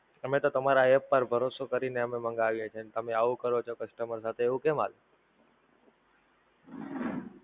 અમે તો તમારા App પર ભરોસો કરીને અમે મંગાવીએ છીએ અને તમે આવું કરો છો પછી તમારા સાથે એવું કેમ હાલે!